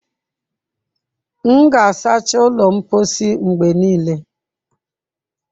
M ga-asacha ụlọ mposi mgbe niile.